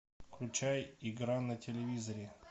включай игра на телевизоре